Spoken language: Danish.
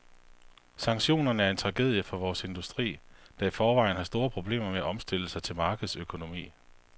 Sanktionerne er en tragedie for vores industri, der i forvejen har store problemer med at omstille sig til markedsøkonomi.